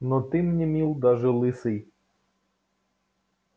но ты мне мил даже лысый